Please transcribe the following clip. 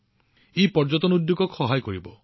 ই পৰ্যটন উদ্যোগক যথেষ্ট সহায় কৰিব